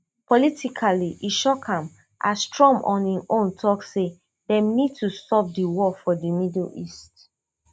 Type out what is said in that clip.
politically e shock am as trump on im own tok say dem need to stop di war for di middle east